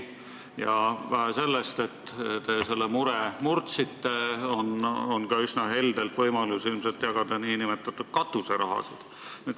Ja vähe sellest, et te selle mure murdsite – teil on ka võimalus üsna heldelt nn katuseraha jagada.